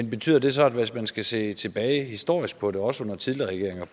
i betyder det så hvis man skal se tilbage historisk på det også på tidligere